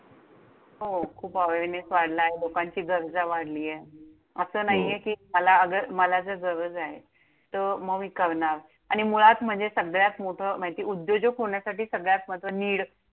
हो! खूप awareness वाढलाय. लोकांची गरजा वाढलीये. हो! असं नाहीये कि मला जर गरज आहे तर मग मी करणार. आणि मुळात म्हणजे सगळ्यात मोठं म्हणजे ते उद्योजक होण्यासाठी सगळ्यात महत्व need